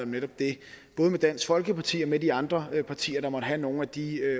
netop det med dansk folkeparti og med de andre partier der måtte have nogle af de